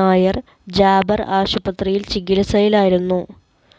Nair Jaber ആശുപത്രിയിൽ ചികിത്സയിലായിരുന്നു